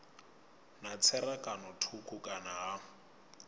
na tserakano thukhu kana ha